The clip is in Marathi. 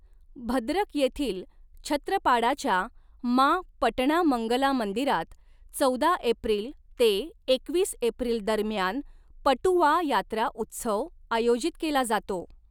भद्रक येथील छत्रपाडाच्या माँ पटणा मंगला मंदिरात चौदा एप्रिल ते एकवीस एप्रिल दरम्यान पटुआ यात्रा उत्सव आयोजित केला जातो.